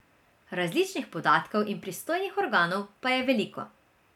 Različnih podatkov in pristojnih organov pa je veliko.